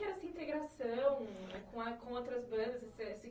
que era essa integração com a com outras bandas? Você assim